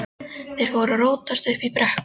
Þeir voru að rótast uppi í brekkum.